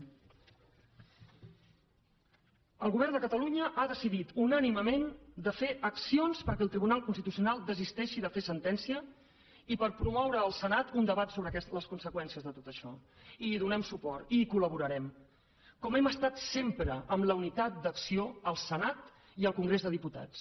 el govern de catalunya ha decidit unànimement de fer accions perquè el tribunal constitucional desisteixi de fer sentència i per promoure al senat un debat sobre les conseqüències de tot això i hi donem suport i hi collaborarem com hem estat sempre amb la unitat d’acció al senat i al congrés dels diputats